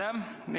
Aitäh!